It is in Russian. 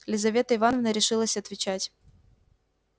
лизавета ивановна решилась отвечать